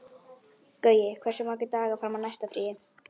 Gaui, hversu margir dagar fram að næsta fríi?